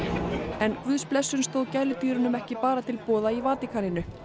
en guðsblessun stóð gæludýrum ekki bara til boða í Vatíkaninu